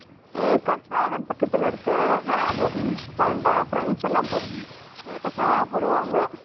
ஏற்காடு சேலம் பக்கத்துல இருக்குது அதுவும் hills தாண்டா friends எல்லாம் போய் status போடுவாங்க.